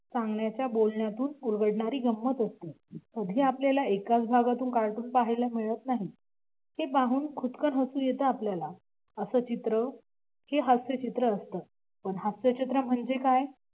सांगण्याच्या बोलण्यातून उलगडणारी गंमत असते. सध्या आपल्याला एकाच भागातून कार्टून पाहायला मिळत नाही ते बघून खुदकन हसू येते आपल्याला असं चित्र हे हास्यचित्र असतं पण हास्यचित्र म्हणजे काय?